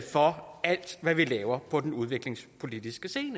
for alt hvad vi laver på den udviklingspolitiske scene